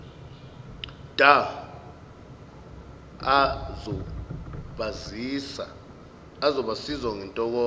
dha azobasiza ngentokozo